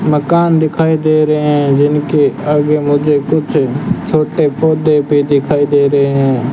मकान दिखाई दे रहे हैं जिनके आगे मुझे कुछ छोटे पौधे भी दिखाई दे रहे हैं।